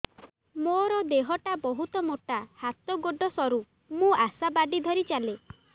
ମୋର ଦେହ ଟା ବହୁତ ମୋଟା ହାତ ଗୋଡ଼ ସରୁ ମୁ ଆଶା ବାଡ଼ି ଧରି ଚାଲେ